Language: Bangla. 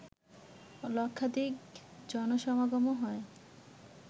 লক্ষাধিক জনসমাগমও হয়